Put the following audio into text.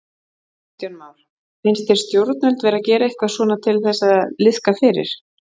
Kristján Már: Finnst þér stjórnvöld vera að gera eitthvað svona til þess að liðka fyrir?